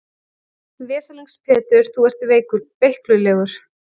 Veslings Pétur þú ert veiklulegur.